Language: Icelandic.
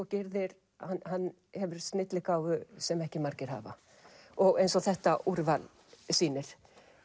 Gyrðir hann hefur snilligáfu sem ekki margir hafa eins og þetta úrval sýnir